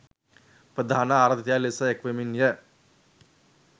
ප්‍රධාන ආරාධිතයා ලෙස එක්වෙමින්ය.